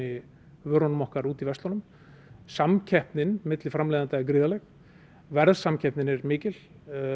vörum okkar út í verslunum samkeppnin milli framleiðanda er gríðarleg verðsamkeppnin er mikil